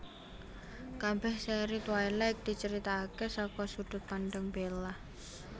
Kabèh sèri Twilight dicaritaké saka sudut pandang Bella